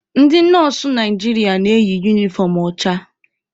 Ndị nọọsụ Naijiria na-eyi unifọm ọcha.